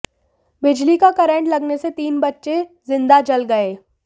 बिजली का करंट लगने से तीन बच्चे जिंदा जल गए